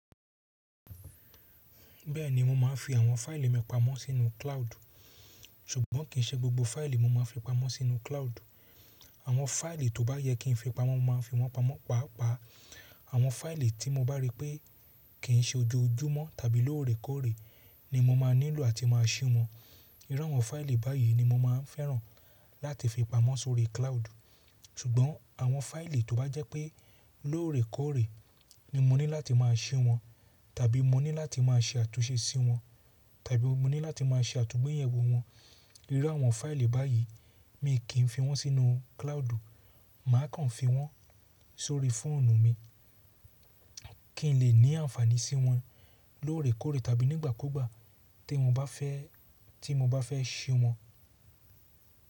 Bẹ́ẹ̀ni mo máa ń fi àwọn fáìlì mi pamọ́ sínú klaud. Ṣùgbọ́n kì í ṣe gbogbo fáìlì mo máa ń fi pamọ́ sínú cloud. Àwọn fáìlì tó bá yẹ kí n fi pamọ́, mo máa ń fi wọ́n pamọ́. Pàápàá àwọn fáìlì tí mo bá rí pé kì í ṣe ojoojúmọ́ tàbí lóòrèkóòrè ni mo máa nílò àti máa ṣí wọn. Irú àwọn fáìlì báyìí ni mo máa ń fẹ́ràn láti fi pamọ́ sórí cloud. Ṣùgbọ́n àwọn fáìlì tó bá jẹ́ pé lóòrèkóòrè ni mo ní láti máa ṣí wọn tàbí mo ní láti máa ṣe àtúnṣe sí wọn tàbí mo ní láti máa ṣe àtúgbẹ̀yẹ̀wò wọn. Irú àwọn fáìlì báyìí mi kì í fi wọ́n sínú cloud. Mà á kàn fi wọ́n sórí fóònù mi kí n lè ní àǹfààní sí wọn lóòrèkóòrè tàbí nígbàkúgbà tí mo bá fẹ́, tí mo bá fẹ́ ṣí wọn.